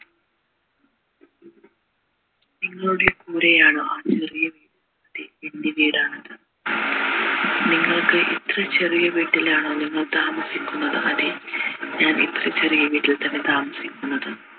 നിങ്ങളുടെ കൂടെയാണോ ആ ചെറിയ അതെ എൻ്റെ വീടാണത് നിങ്ങൾക്ക് ഇത്ര ചെറിയ വീട്ടിൽ ആണോ നിങ്ങൾ താമസിക്കുന്നത് അതെ ഞാൻ ഇത്ര ചെറിയ വീട്ടിൽ തന്നെ താമസിക്കുന്നത്